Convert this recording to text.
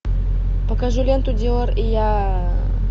покажи ленту диор и я